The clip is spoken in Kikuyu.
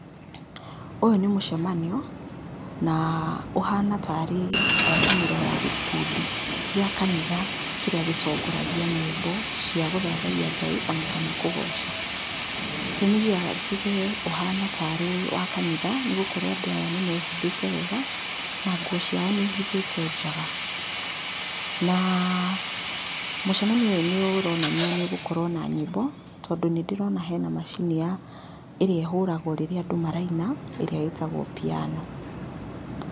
Ũyũ nĩ mũcemanio, na ũhana tarĩ ngwatanĩro ya gĩkundi gĩa kanitha kĩrĩa gĩtongoragia nyĩmbo cia gũthathayia Ngai, ona kana kũgoca. Gĩtumi kĩa njuge ũhana tarĩ wa kanitha, nĩ gũkorwo andũ aya nĩmehumbĩte wega na nguo ciao nĩ ihithĩte njaga. Na mũcemanio ũyũ nĩ ũronania nĩ ũgũkorwo na nyĩmbo, tondũ nĩndĩrona hena macini ya, ĩrĩa ehũragwo rĩrĩa andũ maraina, ĩrĩa ĩtagwo piano.